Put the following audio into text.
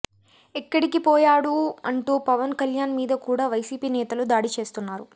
ఎక్కడికి పోయాడు అంటూ పవన్ కళ్యాణ్ మీద కూడా వైసీపీ నేతలు దాడి చేస్తున్నారు